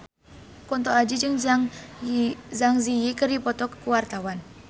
Kunto Aji jeung Zang Zi Yi keur dipoto ku wartawan